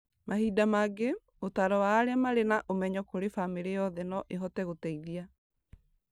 Mahinda mangĩ, ũtaaro wa arĩa marĩ na ũmenyo kũrĩ bamĩrĩ yothe no ĩhote gũteithia